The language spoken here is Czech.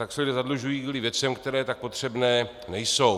Tak se lidé zadlužují kvůli věcem, které tak potřebné nejsou.